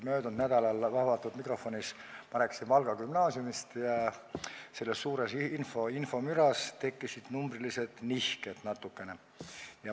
Möödunud nädalal rääkisin ma avatud mikrofonis Valga Gümnaasiumist ja selles suures infomüras tekkis natuke numbrilisi nihkeid.